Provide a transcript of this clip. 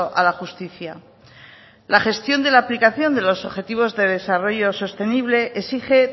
a la justicia la gestión de la aplicación de los objetivos de desarrollo sostenible exige